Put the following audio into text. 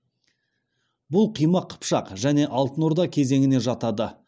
бұл қимақ қыпшақ және алтын орда кезеңіне жатады